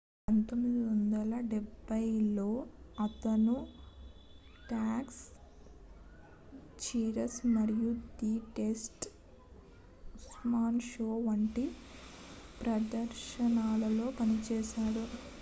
1980 లలో అతను Taxi Cheers మరియు ది ట్రేసీ ఉల్మాన్ షో వంటి ప్రదర్శనలలో పనిచేశాడు